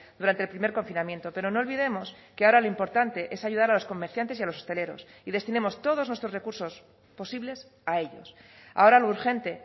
durante el primer confinamiento pero no olvidemos que ahora lo importante es ayudar a los comerciantes y a los hosteleros y destinemos todos nuestros recursos posibles a ellos ahora lo urgente